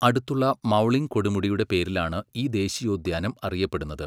അടുത്തുള്ള മൗലിങ് കൊടുമുടിയുടെ പേരിലാണ് ഈ ദേശീയോദ്യാനം അറിയപ്പെടുന്നത്.